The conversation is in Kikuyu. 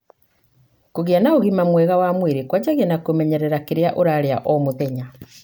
Kũgĩa na ũgima mwega wa mwĩri kũanjagia na kũmenyerera kĩrĩa ũrarĩa o muthenya.